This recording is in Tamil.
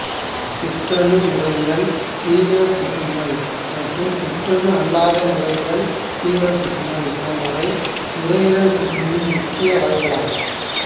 சிற்றணு நுரையீரல் தீவிரப் புற்றுநோய் மற்றும் சிற்றணு அல்லாத நுரையீரல் தீவிரப் புற்றுநோய் போன்றவை நுரையீரல் புற்றுநோயின் முக்கிய வகைகளாகும்